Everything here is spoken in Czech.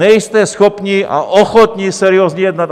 Nejste schopni a ochotni seriózně jednat!